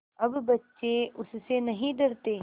अब बच्चे उससे नहीं डरते